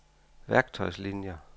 værktøjslinier